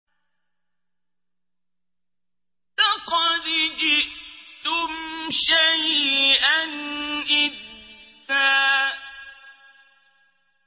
لَّقَدْ جِئْتُمْ شَيْئًا إِدًّا